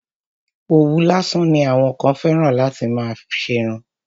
Òwú lásán ni àwọn kan fẹ́ràn láti fi má ṣerun.